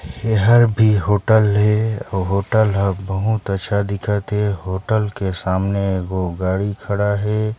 ईहा भी होटल हे अऊ होटल ह बहुत अच्छा दिखा थे होटल के सामने दु गो गाड़ी खड़ा हे।